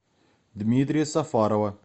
дмитрия сафарова